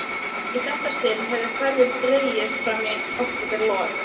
Í þetta sinn hefur ferðin dregist fram í októberlok.